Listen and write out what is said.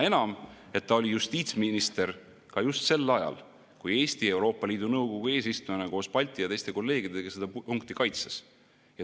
Seda enam, et ta oli justiitsminister just sel ajal, kui Eesti Euroopa Liidu Nõukogu eesistujana koos Balti ja teiste kolleegidega seda punkti kaitses.